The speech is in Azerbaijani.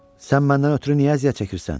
Sən məndən ötrü niyə əziyyət çəkirsən?